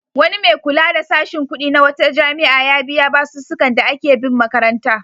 Wani mai kula da sashin kuɗi na wata jami'a ya biya basussukan da ake bin makaranta.